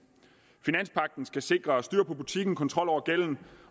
finanspagten skal sikre styr på butikken kontrol over gælden